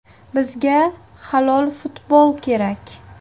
Bizga halol futbol kerak.